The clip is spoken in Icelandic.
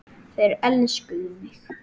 Þeir elskuðu mig.